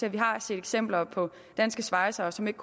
at vi har set eksempler på danske svejsere som ikke